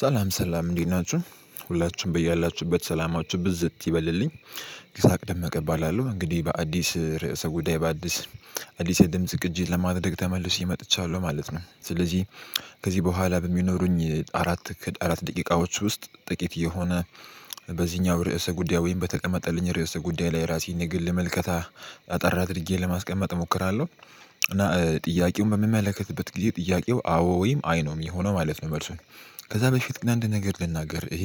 ሰላም ሰላም እንዴት ናችሁ ሁላችሁም በያላችሁበት ሰላማችሁ ብዝት ይበልልኝ ይሳቅ ደመቀ እባላለሁ እንግዲህ በአዲስ ርዕሰ ጉዳይ በአዲስ አዲስ የድምጽ ቅጂ ለማድረግ ተመልሼ መጥቻለሁ ማለት ነው። ስለዚህ ከዚህ በኋላ በሚኖሩኝ አራት ከድ አራት ደቂቃዎች ውስጥ ጥቂት የሆነ በዚህኛው ርዕሰ ጉዳይ ወይም በተቀመጠልኝ ርዕሰ ጉዳይ ላይ ራሴን የግል መልከታ አጠር አድርጌ ለማስቀመጥ እሞክራለሁ። እና ጥያቄውን በምመለከትበት ጊዜ ጥያቄው አዎ ወይም አይ ነው ሚሆነው ማለት ነው። መልሱን ከዛ በፊት ግን አንድ ነገር ልናገር። ይሄ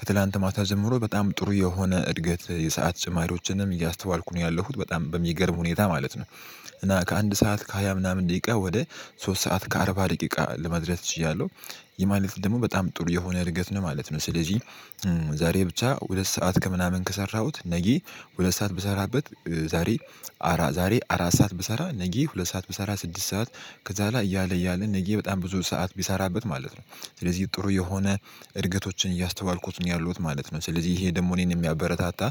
ከትላንት ማታ ጀምሮ በጣም ጥሩ የሆነ እድገት የሰዓት ጭማሪዎችንም እያስተዋልኩ ነው ያለሁት በጣም በሚገርም ሁኔታ ማለት ነው። እና ከአንድ ሰዓት ከሃያ ምናምን ደቂቃ ወደ ሶስት ሰዓት ከአርባ ደቂቃ ለመድረስ ችያለሁ። ይህ ማለት ደግሞ በጣም ጥሩ የሆነ እድገት ነው ማለት ነው። ስለዚህ ዛሬ ብቻ ሁለት ሰዓት ከምናምን ከሰራሁት ነጌ ሁለት ሰዓት ብሰራበት ዛሬ አራ ዛሬ አራት ሰዓት ብሰራ ነጌ ሁለት ሰዓት ብሰራ ስድስት ሰዓት ከዛ ሗላ እያለ እያለ ነጌ በጣም ብዙ ሰዓት ብሰራበት ማለት ነው። ስለዚህ ጥሩ የሆነ እድገቶችን እያስተዋልኩት ነው ያለሁት ማለት ነው። ስለዚህ ይሄ ደግሞ እኔን የሚያበረታታ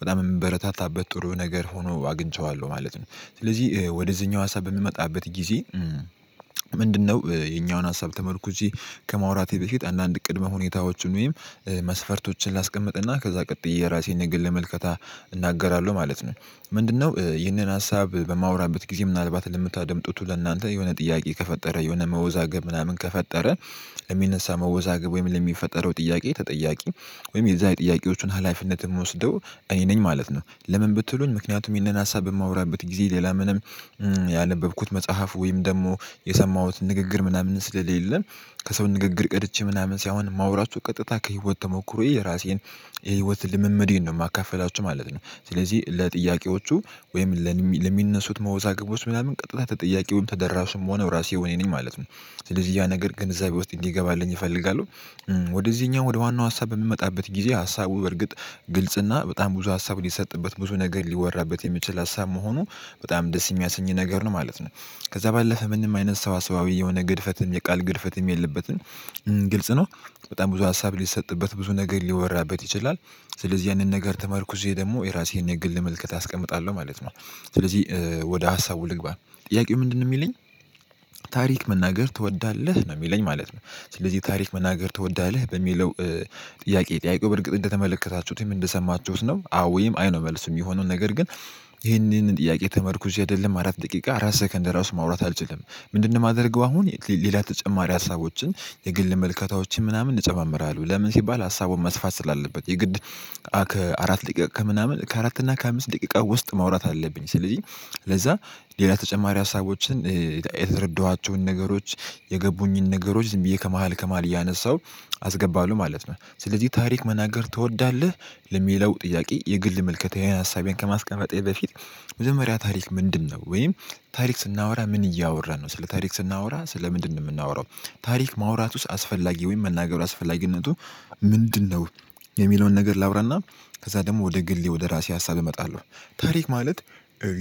በጣም እምበረታታበት ጥሩ ነገር ሆኖ አግኝቼዋለሁ ማለት ነው። ስለዚህ ወደዚህኛው ሀሳብ በምመጣበት ጊዜ ምንድነው? ይሄኛውን ሀሳብ ተመርኩዤ ከማውራቴ በፊት አንዳንድ ቅድመ ሁኔታዎቹን ወይም መስፈርቶችን ላስቀምጥ እና ከዛ ቀጥዬ የራሴን የግል ምልከታ እናገራለሁ ማለት ነው። ምንድነው ይህንን ሀሳብ በማወራበት ጊዜ ምናልባት ለምታደምጡቱ ለእናንተ የሆነ ጥያቄ ከፈጠረ የሆነ መወዛገብ ምናምን ከፈጠረ ለሚነሳ መወዛገብ ወይም ለሚፈጠረው ጥያቄ ተጠያቂም ወይም የዛ የጥያቄዎቹን ሀላፊነት እምወስደው እኔ ነኝ ማለት ነው። ለምን? ብትሉኝ ምክንያቱም ይሄንን ሀሳብ በማወራበት ጊዜ ሌላ ምንም ያነበብኩት መጽሐፍ ወይም ደግሞ የሰማሁት ንግግር ምናምን ስለሌለ ከሰው ንግግር ቀድቼ ምናምን ሳይሆን እማወራቹ ቀጥታ ከህይወት ተሞክሮዬ የራሴን የህይወት ልምምዴን ነው ማካፍላችሁ ማለት ነው። ስለዚህ ለጥያቄዎቹ ወይም ለሚ ለሚነሱት መወዛግቦች ምናምን ቀጥታ ተጠያቂውን ተደራሽም ምሆነው እራሴው እኔ ነኝ ማለት ነው። ስለዚህ ያ ነገር ግንዛቤ ውስጥ እንዲገባልኝ እፈልጋለሁ። ወደዚህኛው ወደ ዋናው ሀሳብ በምመጣበት ጊዜ ሀሳቡ በርግጥ ግልጽ እና በጣም ብዙ ሀሳብ ሊሰጥበት ብዙ ነገር ሊወራበት የሚችል ሀሳብ መሆኑ በጣም ደስ የሚያሰኝ ነገር ነው ማለት ነው። ከዛ ባለፈ ምንም አይነት ሰዋሰዋዊ የሆነ ግድፈትም የቃል ግድፈትም የለበትም ግልጽ ነው። በጣም ብዙ ሀሳብ ሊሰጥበት ብዙ ነገር ሊወራበት ይችላል። ስለዚህ ያንን ነገር ተመርኩዤ ደግሞ የራሴን የግል ምልከታ አስቀምጣለሁ ማለት ነው። ስለዚህ ወደ ሀሳቡ ልግባ ጥያቄው ምንድነው ሚለኝ? ታሪክ መናገር ትወዳለህ ነው ሚለኝ ማለት ነው። ስለዚህ ታሪክ መናገር ትወዳለህ በሚለው ጥያቄ ጥያቄው በእርግጥ እንደተመለከታችሁትም እንደሰማችሁት ነው። አዎ ወይም አይ ነው መልስ ሚሆነው ነገር ግን ይሄንን ጥያቄ ተመርኩዤ አይደለም አራት ደቂቃ አራት ሰከንድ ራሱ ማውራት አልችልም። ምንድነው? ማደርገው አሁን ሌላ ተጨማሪ ሀሳቦችን የግል ምልከታዎችን ምናምን እጨማምራለሁ ለምን ሲባል ሀሳቡ መስፋት ስላለበት የግድ ከአራት ደቂቃ ከምናምን ከአራት እና ከአምስት ደቂቃ ውስጥ ማውራት አለብኝ ስለዚህ። ለዛ ሌላ ተጨማሪ ሀሳቦችን የተ የተረዳኋቸውን ነገሮች የገቡኝን ነገሮች ዝም ብዬ ከመሃል ከመሃል እያነሳሁ አስገባለሁ ማለት ነው። ስለዚህ ታሪክ መናገር ትወዳለህ? ለሚለው ጥያቄ የግል ምልከታዬ ሀሳቤን ከማስቀመጤ በፊት መጀመሪያ ታሪክ ምንድነው ወይም ታሪክ ስናወራ ምን እያወራን ነው ስለ ታሪክ ስናወራ ስለ ምንድነው ምናወራው? ታሪክ ማውራቱስ አስፈላጊ ወይም መናገሩ አስፈላጊነቱ ምንድነው? የሚለውን ነገር ላዉራ እና ከዛ ደግሞ ወደ ግሌ ወደ ራሴ ሀሳብ እመጣለሁ። ታሪክ ማለት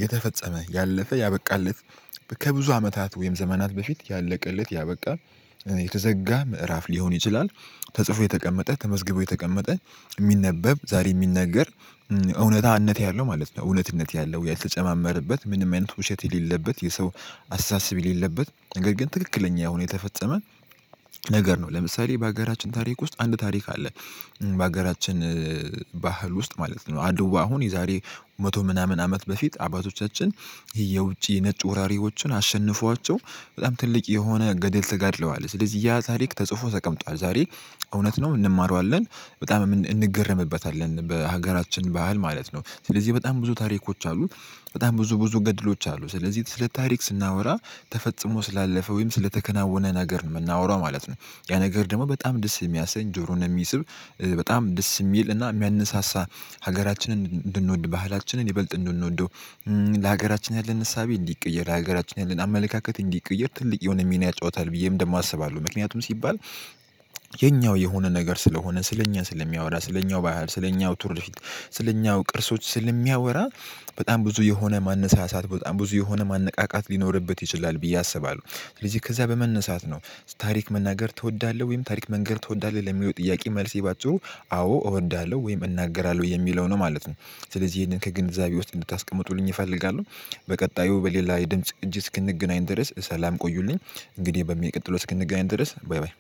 የተፈጸመ ያለፈ ያበቃለት ከብዙ አመታት ወይም ዘመናት በፊት ያለቀለት ያበቃ የተዘጋ ምዕራፍ ሊሆን ይችላል። ተጽፎ የተቀመጠ ተመዝግቦ የተቀመጠ እሚነበብ ዛሬ እሚነገር እውነታነት ያለው ማለት ነው። እውነትነት ያለው ያልተጨማመረበት ምንም አይነት ውሸት የሌለበት የሰው አስተሳሰብ የሌለበት ነገር ግን ትክክለኛ የሆነ የተፈጸመ ነገር ነው። ለምሳሌ በሀገራችን ታሪክ ውስጥ አንድ ታሪክ አለ። በሀገራችን ባህል ውስጥ ማለት ነው አድው አሁን የዛሬ መቶ ምናምን አመት በፊት አባቶቻችን የውጪ ነጭ ወራሪዎችን አሸንፈዋቸው በጣም ትልቅ የሆነ ገደል ተጋድለዋል። ስለዚህ ያ ታሪክ ተጽፎ ተቀምጧል ዛሬ እውነት ነው እንማረዋለን። በጣም እምን እንገረምበታለን በሀገራችን ባህል ማለት ነው ስለዚህ በጣም ብዙ ታሪኮች አሉ። በጣም ብዙ ብዙ ገድሎች አሉ ስለዚህ ስለ ታሪክ ስናወራ ተፈጽሞ ስላለፈ ወይም ስለተከናወነ ነገር ነው ምናወራው ማለት ነው። ያ ነገር ደግሞ በጣም ደስ የሚያሰኝ ጆሮን የሚስብ በጣም ደስ እሚል እና ሚያነሳሳ ሀገራችንን እንድንወድ ባህላችንን ይበልጥ እንድንወደው ለሀገራችን ያለን እሳቤ እንዲቀየር ለሀገራችን ያለን አመለካከት እንዲቀየር ትልቅ የሆነ ሚና ያጫወታል ብዬም ደግሞ አስባለሁ። ምክንያቱም ሲባል የኛው የሆነ ነገር ስለሆነ ስለኛ ስለሚያወራ ስለኛው ባህል ስለኛው ቱርፊት ስለኛው ቅርሶች ስለሚያወራ በጣም ብዙ የሆነ ማነሳሳት በጣም ብዙ የሆነ ማነቃቃት ሊኖርበት ይችላል ብዬ አስባለሁ። ስለዚህ ከዛ በመነሳት ነው። ታሪክ መናገር ትወዳለህ ወይም ታሪክ መንገር ትወዳለህ ለሚለው ጥያቄ መልሴ ባጭሩ አዎ እወዳለው ወይም እናገራለሁ የሚለው ነው ማለት ነው። ስለዚህ ይሄንን ከግንዛቤ ውስጥ እንድታስቀምጡልኝ እፈልጋለሁ። በቀጣዩ በሌላ የድምጽ ቅጂ እስክንገናኝ ድረስ ሰላም ቆዩልኝ። እንግዲህ በሚቀጥለው እስክንገናኝ ድረስ ባይ ባይ